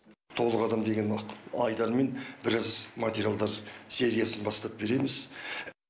толық адам деген нық айдармен біраз материалдар сериясын бастап береміз